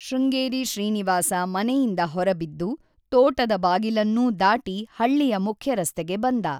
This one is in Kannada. ಶೃಂಗೇರಿ ಶ್ರೀನಿವಾಸ ಮನೆಯಿಂದ ಹೊರಬಿದ್ದು, ತೋಟದ ಬಾಗಿಲನ್ನೂ ದಾಟಿ ಹಳ್ಳಿಯ ಮುಖ್ಯ ರಸ್ತೆಗೆ ಬಂದ.